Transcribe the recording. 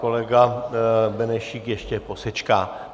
Kolega Benešík ještě posečká.